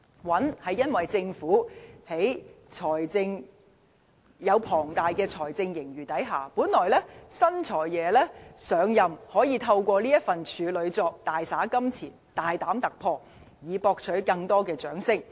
"穩"，是因為在政府擁有龐大財政盈餘的情況下，本來新"財爺"上任可以透過這份處女作大灑金錢、大膽突破，以博取更多的掌聲。